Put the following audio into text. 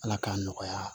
Ala k'a nɔgɔya